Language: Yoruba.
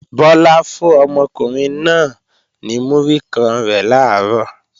Bọ́lá fún ọmọkùnrin náà náà ní múrí kan rẹ̀ làárọ̀